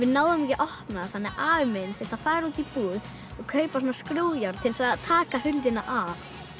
náðum ekki að opna þannig að afi minn þurfti að fara út í búð og kaupa skrúfjárn til þess að taka hurðina af